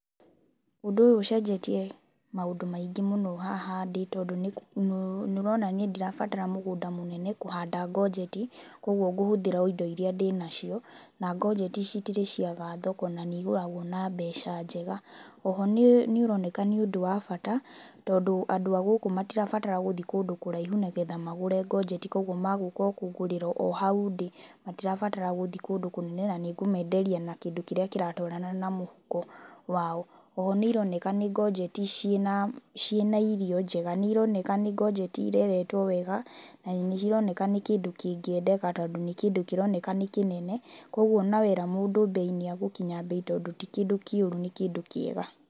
Ũndũ ũyũ ũcenjetie maũndũ maingĩ mũno haha ndĩ tondũ nĩ ũronania ndirabatara mũgũnda mũnene kũhaanda ngojeti, koguo ngũhũthĩra o indo iria ndĩ nacio na ngojeti citirĩ ciaga thoko na nĩigũragwo na mbeca njega. Oho nĩ ũroneka nĩ ũndũ wa bata tondũ andũ a gũkũ matirabatara gũthiĩ kũndũ kũraihu nĩgetha magũre njojeti koguo magũka o kũngũrĩra o hau ndĩ matirabatara gũthiĩ kũndũ kũnene na nĩngũmenderia kĩndũ kĩrĩa kĩratwarana na mũhuko wao. Oho nĩ ironeka nĩ ngojeti ciĩna irio njega nĩ ironeka nĩ ngojeti ireretwo wega na cironeka nĩ kĩndũ kĩngĩendeka tondũ nĩ kĩndũ kĩroneka nĩkĩnene koguo ona wera mũndũ mbei nĩ egũkinya mbei tondũ ti kĩndũ kĩũru nĩ kĩndũ kĩega.